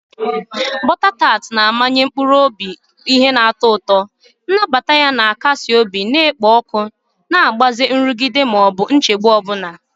Butter tart na-amanye mkpụrụ obi ihe na-atọ ụtọ, nnabata ya na-akasi obi na-ekpo ọkụ na-agbaze nrụgide ma ọ bụ nchegbu ọ bụla.